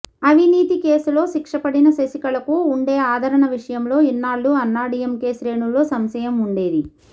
అవినీతి కేసులో శిక్ష పడిన శశికళకు వుండే ఆదరణ విషయంలో ఇన్నాళ్లూ అన్నాడీఎంకే శ్రేణుల్లో సంశయం వుండేది